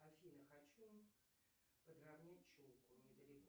афина хочу подравнять челку недалеко